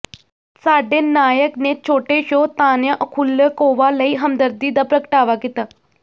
ਸਾਡੇ ਨਾਇਕ ਨੇ ਛੋਟੇ ਸ਼ੋਅ ਤਾਨਯਾ ਓਖੁਲੇਕੋਵਾ ਲਈ ਹਮਦਰਦੀ ਦਾ ਪ੍ਰਗਟਾਵਾ ਕੀਤਾ